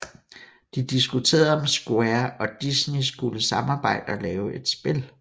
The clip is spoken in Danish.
De diskuterede om Square og Disneyskulle samarbejde og lave et spil